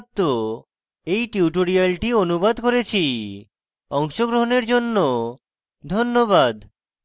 আমি কৌশিক দত্ত এই টিউটোরিয়ালটি অনুবাদ করেছি অংশগ্রহনের জন্য ধন্যবাদ